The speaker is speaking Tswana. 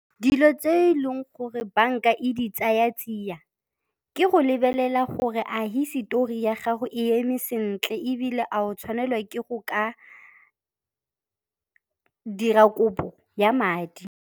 Dilo tse e leng gore banka e di tsaya tsia, ke go lebelela gore a hisetori ya gago e eme sentle ebile a o tshwanelwa ke go ka dira kopo ya madi.